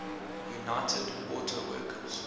united auto workers